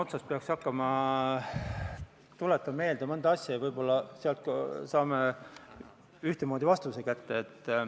Kui ma peaks hakkama otsast meelde tuletama mõnda asja, siis võib-olla saame ühesuguse vastuse kätte.